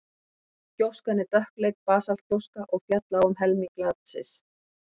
gjóskan er dökkleit basaltgjóska og féll á um helming landsins